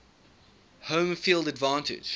home field advantage